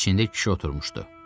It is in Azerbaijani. İçində kişi oturmuşdu.